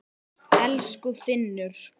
Elsku Finnur.